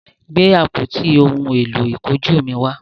Gbe àpótí òún èló ìkunjú mí wá!